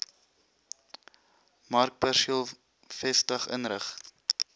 markperseel vestig inrig